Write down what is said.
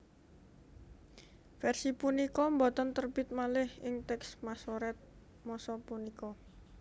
Versi punika boten terbit malih ing teks Masoret masa punika